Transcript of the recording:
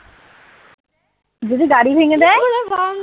যদি গাড়ি ভেঙে দেয়?